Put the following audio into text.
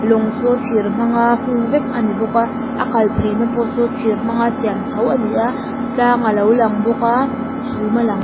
lawng saw thîr hmanga hung vek a ni bawk a a kalpheina pawh saw thîr hmanga siam tho a ni a tlâng a lo lang bawk a chhûm a lang--